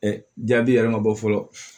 jaabi yɛrɛ ma bɔ fɔlɔ